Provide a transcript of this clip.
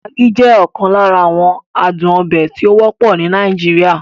Maggi jẹ́ okan lara awon aduon obe tí ó wọ́pọ̀ ní Nàìjíríà.